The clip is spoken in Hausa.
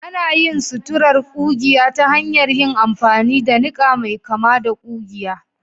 Ana yin suturar ƙugiya ta hanyar yin amfani da niƙa mai kama da ƙugiya